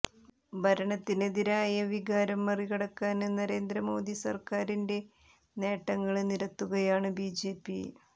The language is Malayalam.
ഭരണത്തിനെതിരായ വികാരം മറികടക്കാന് നരേന്ദ്ര മോദി സര്ക്കാറിന്റെ നേട്ടങ്ങള് നിരത്തുകയാണ് ബിജെപി